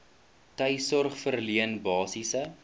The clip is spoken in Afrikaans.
tuissorg verleen basiese